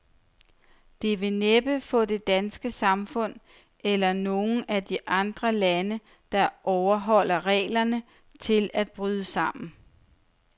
Det vil næppe få det danske samfund, eller nogen af de andre lande, der overholder reglerne, til at bryde sammen.